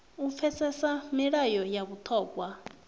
u pfesesa milayo ya vhuṱhogwa